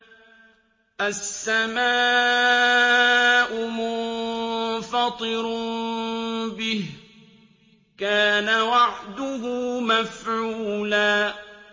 السَّمَاءُ مُنفَطِرٌ بِهِ ۚ كَانَ وَعْدُهُ مَفْعُولًا